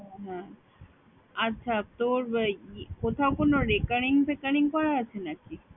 হ্যাঁ। আচ্ছা তোর ই~ কোথাও কোনো recurring frecurring করা আছে নাকি?